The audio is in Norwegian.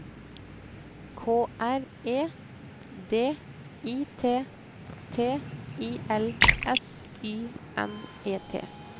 K R E D I T T I L S Y N E T